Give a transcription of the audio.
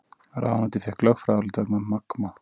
Ráðuneytið fékk lögfræðiálit vegna Magma